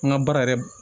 An ka baara yɛrɛ